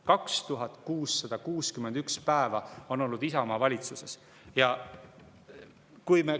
2661 päeva on olnud Isamaa valitsuses!